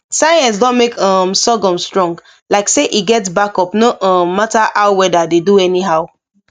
science don make um sorghum strong like say e get backup no um matter how weather dey do anyhow